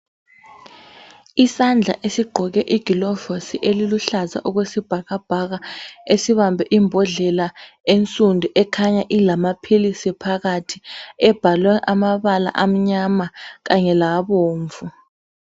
Isandla esigqoke igilovusi eliluhlaza okwesibhakabhaka esibambe imbodlela ensundu ekhanya ilamaphilisi phakathi ebhalwe amabala amnyama kanye labomvu.